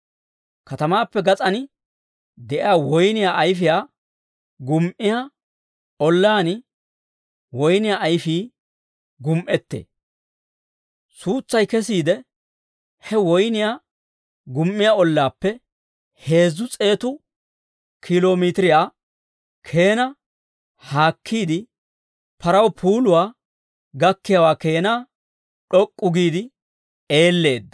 Katamaappe gas'aan de'iyaa woyniyaa ayfiyaa gumi"iyaa ollaan woyniyaa ayfii gumi"ettee. Suutsay kesiide, he woyniyaa gumi"iyaa ollaappe heezzu s'eetu kiilo miitiriyaa keenaa haakkiide, paraw puuluwaa gakkiyaawaa keenaa d'ok'k'u giide eelleedda.